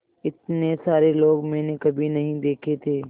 इतने सारे लोग मैंने कभी नहीं देखे थे